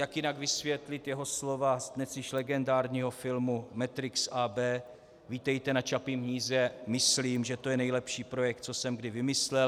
Jak jinak vysvětlit jeho slova z dnes již legendárního filmu Matrix AB "vítejte na Čapím hnízdě, myslím, že to je nejlepší projekt, co jsem kdy vymyslel"?